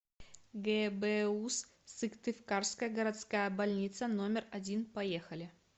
гбуз сыктывкарская городская больница номер один поехали